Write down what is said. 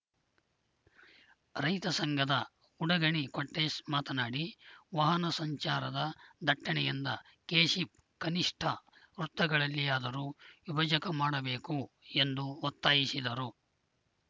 ರೈತ ಸಂಘದ ಉಡಗಣಿ ಕೊಟ್ರೇಶ್‌ ಮಾತನಾಡಿ ವಾಹನ ಸಂಚಾರದ ದಟ್ಟಣೆಯೆಂದ ಕೇಶಿಪ್‌ ಕನಿಷ್ಠ ವೃತ್ತಗಳಲ್ಲಿಯಾದರೂ ವಿಭಜಕ ಮಾಡಬೇಕು ಎಂದು ಒತ್ತಾಯಿಸಿದರು